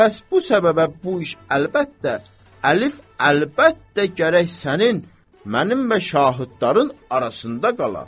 Pəs bu səbəbə bu iş əlbəttə, əlif əlbəttə gərək sənin, mənim və şahidlərin arasında qala.